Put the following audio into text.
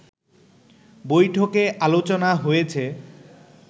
বৈঠকে আলোচনা হয়েছে